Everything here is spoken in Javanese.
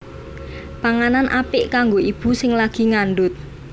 Panganan apik kanggo ibu sing lagi ngandhut